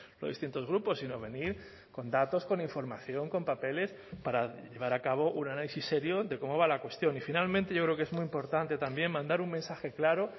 los distintos grupos si no venir con datos con información con papeles para llevar a cabo un análisis serio de cómo va la cuestión y finalmente yo creo que es muy importante también mandar un mensaje claro